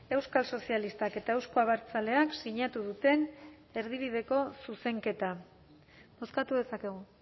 euskal sozialistak eta euzko abertzaleak sinatu duten erdibideko zuzenketa bozkatu dezakegu